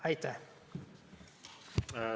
Aitäh!